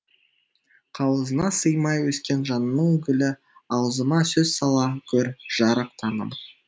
қауызына сыймай өскен жанның гүлі аузыма сөз сала гөр жарық таңым